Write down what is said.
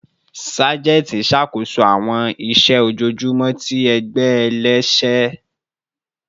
Sajenti n ṣakoso awọn iṣẹ ojoojumọ ti ẹgbẹ ẹlẹsẹ